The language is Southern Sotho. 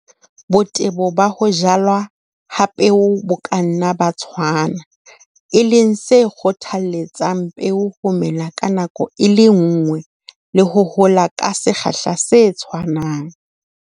Botebo ba ho jalwa ha peo bo ka nna ba tshwana, e leng se kgothaletsang peo ho mela ka nako e le nngwe le ho hola ka sekgahla se tshwanang.